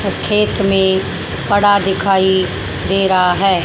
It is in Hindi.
खेत में पड़ा दिखाई दे रहा है।